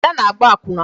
Ada na-agba akwụna